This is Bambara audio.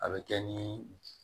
A bɛ kɛ ni